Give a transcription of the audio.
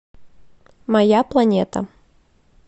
моя планета